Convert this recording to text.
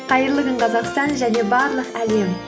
қайырлы күн қазақстан және барлық әлем